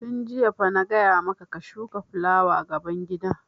Tun jiya fa na gaya ma ka ka shuka fulawa gaban gida!